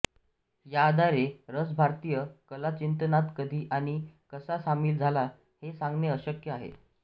या आधारे रस भारतीय कला चिंतनात कधी आणि कसा सामील झाला हे सांगणे अशक्य आहे